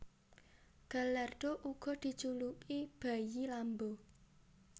Gallardo uga dijuluki bayi Lambo